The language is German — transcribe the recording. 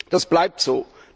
Das bleibt so.